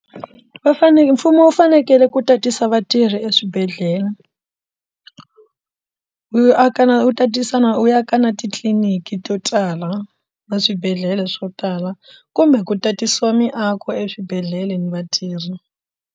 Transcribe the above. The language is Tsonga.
Va fanele mfumo wu fanekele ku tatisa vatirhi eswibedhlele yi aka na wu tatisa na wu ya ka na titliliniki to tala na swibedhlele swo tala kumbe ku tatisiwa miako eswibedhlele ni vatirhi.